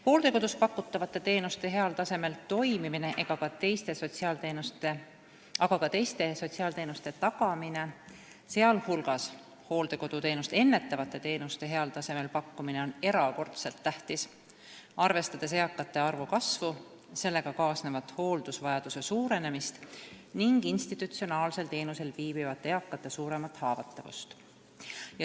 Hooldekodus pakutavate teenuste toimimine, aga ka teiste sotsiaalteenuste, sh hooldekoduteenust ennetavate teenuste tagamine ja heal tasemel pakkumine on erakordselt tähtis, arvestades eakate arvu kasvu, sellega kaasnevat hooldusvajadust ning institutsionaalsel teenusel viibivate eakate suuremat haavatavust.